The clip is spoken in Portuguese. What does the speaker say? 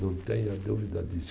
Não tenha dúvida disso.